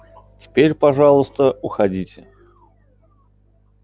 теперь пожалуйста уходите